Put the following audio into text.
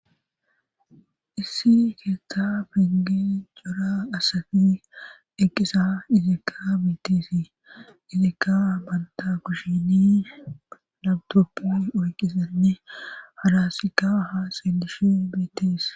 Issi keessa penge jora asafi eqqisa itikka biitisi izika banta kushini labtoppi oyqqisenni halasika ha seelishi biitis